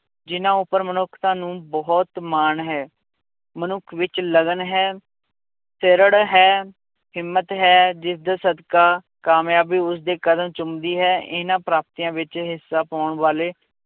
ਜਿੰਨਾਂ ਉੱਪਰ ਮਨੁੱਖਤਾ ਨੂੰ ਬਹੁਤ ਮਾਣ ਹੈ, ਮਨੁੱਖ ਵਿੱਚ ਲਗਨ ਹੈ ਹੈ, ਹਿੰਮਤ ਹੈ, ਜਿਸਦੇ ਸਦਕਾ ਕਾਮਯਾਬੀ ਉਸਦੇ ਕਦਮ ਚੁੰਮਦੀ ਹੈ, ਇਹਨਾਂ ਪ੍ਰਾਪਤੀਆਂ ਵਿੱਚ ਹਿੱਸਾ ਪਾਉਣ ਵਾਲੇ